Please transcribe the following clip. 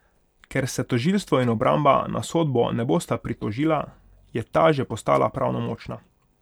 Ker se tožilstvo in obramba na sodbo ne bosta pritožila, je ta že postala pravnomočna.